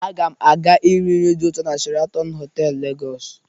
Aga m aga iri nri dị ụtọ na Sheratọn Họtelụ, Legọsị.